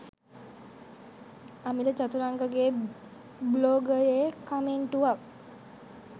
අමිල චතුරංග ගේ බ්ලොගයේ කමෙන්ටුවක්